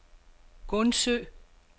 Gundsø